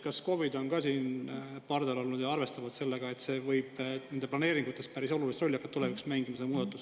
Kas KOV-id on ka siin pardal olnud ja arvestavad sellega, et tulevikus võib see muudatus hakata nende planeeringutes päris olulist rolli mängima?